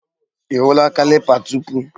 Ị hụla caliper tupu?